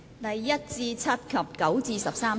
第1至7及9至13條。